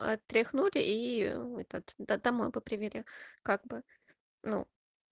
отряхнуть и этот домой привезли как бы ну